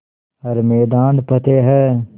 हर मैदान फ़तेह